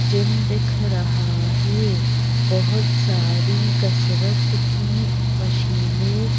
gym दिख रहा है बहुत सारी कसरत की मशीनें--